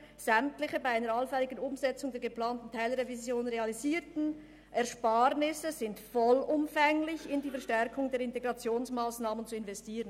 «Sämtliche bei einer allfälligen Umsetzung der geplanten Teilrevision realisierten Ersparnisse sind vollumfänglich in die Verstärkung der Integrationsmassnahmen zu investieren.»